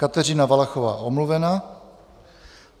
Kateřina Valachová: Omluvena.